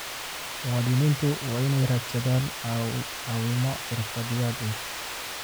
Muwaadiniintu waa inay raadsadaan caawimo xirfadlayaal ah.